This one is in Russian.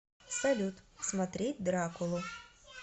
салют смотреть дракулу